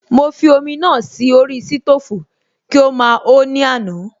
Mo fi omi náà sí orí sítòfù kí ó máa ho ní àná